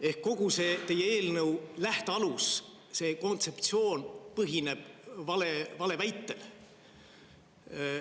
Ehk kogu see teie eelnõu lähtealus, see kontseptsioon põhineb valeväitel.